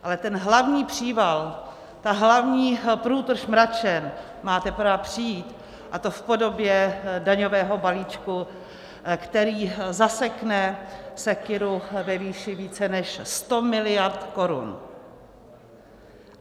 Ale ten hlavní příval, ta hlavní průtrž mračen má teprve přijít, a to v podobě daňového balíčku, který zasekne sekyru ve výši více než 100 miliard korun.